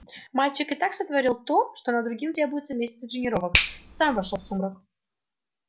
мальчик и так сотворил то на что другим требуются месяцы тренировок сам вошёл в сумрак